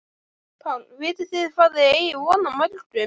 Páll: Vitið þið hvað þið eigið von á mörgum?